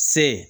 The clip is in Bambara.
Se